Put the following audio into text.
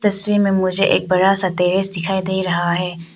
तस्वीर में मुझे एक बड़ा सा टैरेस दिखाई दे रहा है।